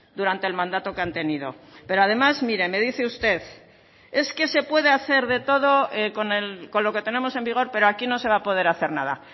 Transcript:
durante el mandato que han tenido pero además mire me dice usted es que se puede hacer de todo con lo que tenemos en vigor pero aquí no se va a poder hacer nada